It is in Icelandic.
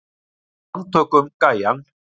Við handtökum gæjann.